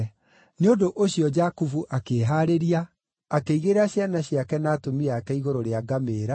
Nĩ ũndũ ũcio Jakubu akĩĩhaarĩria, akĩigĩrĩra ciana ciake na atumia ake igũrũ rĩa ngamĩĩra,